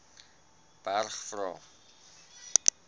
berg vra